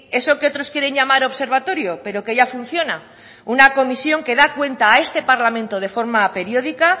eso que otros quieren llamar observatorio pero que ya funciona una comisión que da cuenta a este parlamento de forma periódica